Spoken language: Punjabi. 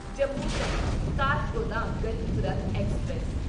ਜੰਮੂ ਤਵੀ ਕਾਠਗੋਦਾਮ ਗਰੀਬ ਰੱਥ ਐਕਸਪ੍ਰੈਸ